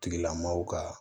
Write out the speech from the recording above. Tigilamɔgɔw ka